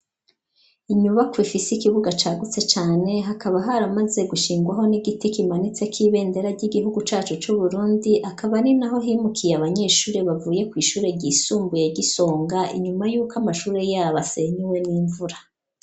Inyuba kw'ifise ikibuga cagutse cane hakaba ahar amaze gushingwaho n'igiti kimanitse kw'ibendera ry'igihugu cacu c'uburundi akaba ani na ho himukiye abanyeshure bavuye kw'ishure ryisumbuye gisonga inyuma yuko amashure yabo asenyuwe n'imvura.